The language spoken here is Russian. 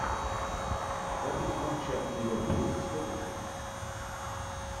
запись матча ливерпуль с тоттенхэмом